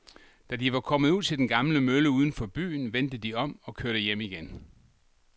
Da de var kommet ud til den gamle mølle uden for byen, vendte de om og kørte hjem igen.